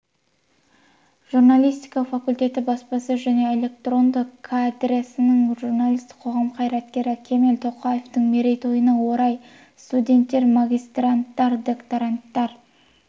журналистика факультеті баспасөз және электронды кафедрасы журналист қоғам қайраткері кемел тоқаевтың мерейтойына орай студенттер магистранттар докторанттар